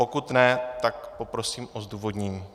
Pokud ne, tak poprosím o zdůvodnění.